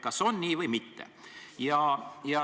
Kas on nii või mitte?